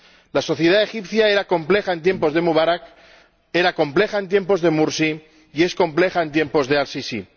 La sociedad egipcia era compleja en tiempos de Mubarak, era compleja en tiempos de Morsi y es compleja en tiempos a Al Sisi.